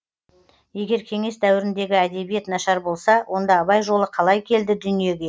егер кеңес дәуіріндегі әдебиет нашар болса онда абай жолы қалай келді дүниеге